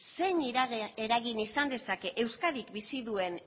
zein eragin izan dezake euskadik bizi duen